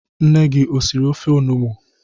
Nne gị o siri ofe onugbu?